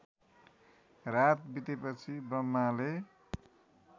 रात बितेपछि ब्रह्माले